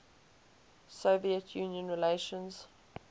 soviet union relations